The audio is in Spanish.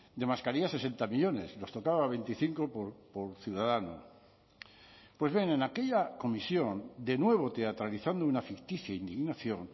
de mascarillas sesenta millónes nos tocaba a veinticinco por ciudadano pues bien en aquella comisión de nuevo teatralizando una ficticia indignación